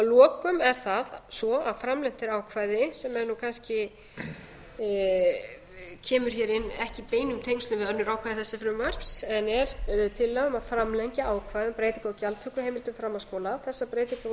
að lokum er það svo að framlengt er ákvæði sem er nú kannski kemur hér inn ekki í beinum tengslum við önnur ákvæði þessa frumvarps en er tillaga um að framlengja ákvæði um breytingu á gjaldtökuheimildum framhaldsskóla þessar breytingar voru